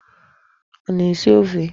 A na-esi ofe?